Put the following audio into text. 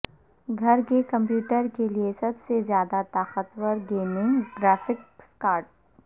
گھر کے کمپیوٹر کے لئے سب سے زیادہ طاقتور گیمنگ گرافکس کارڈ